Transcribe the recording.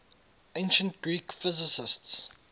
ancient greek physicists